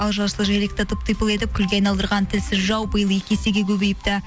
ал жасыл желекті тып типыл етіп күлге айналдырған тілсіз жау биыл екі есеге көбейіпті